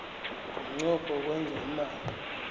ngomnqopho wokwenza imali